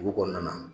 Dugu kɔnɔna na